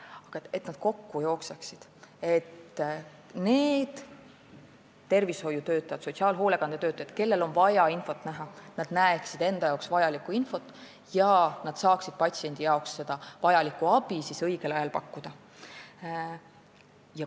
On vaja, et need kokku jookseksid, nii et need tervishoiutöötajad ja sotsiaalhoolekandetöötajad, kellel on vaja infot näha, näeksid seda ja saaksid patsiendile õigel ajal abi pakkuda.